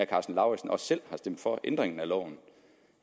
karsten lauritzen også selv har stemt for ændringen af loven